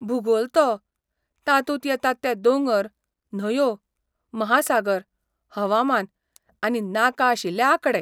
भूगोल तो! तातूंत येतात ते दोंगर, न्हंयो, महासागर, हवामान, आनी नाका आशिल्ले आंकडे.